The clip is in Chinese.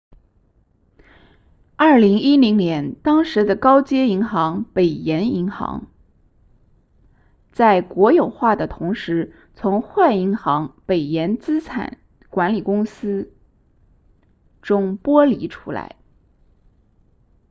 2010年当时的高街银行北岩银行 northern rock plc 在国有化的同时从坏银行北岩资产管理公司 northern rock asset management 中剥离出来